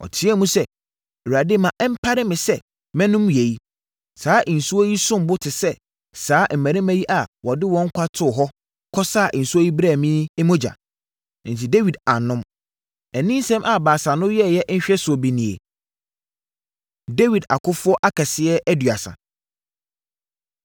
Ɔteaam sɛ, “ Awurade ma ɛmpare me sɛ mɛnom yei! Saa nsuo yi som bo te sɛ saa mmarima yi a wɔde wɔn nkwa too hɔ, kɔsaa nsuo yi brɛɛ me yi mogya.” Enti, Dawid annom. Aninsɛm a Baasa no yɛeɛ nhwɛsoɔ bi nie. Dawid Akofoɔ Akɛseɛ Aduasa